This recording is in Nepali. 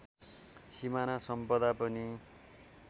सिमाना सम्पदा पनि